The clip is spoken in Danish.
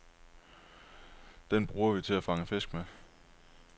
Den bruger vi til at fange fisk med.